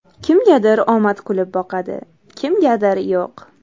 Kimgadir omad kulib boqadi, kimgadir yo‘q.